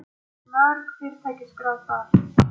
Það voru mörg fyrirtæki skráð þar